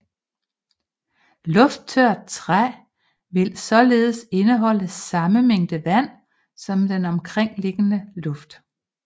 Lufttørt træ vil således indeholde samme mængde vand som den omkringliggende luft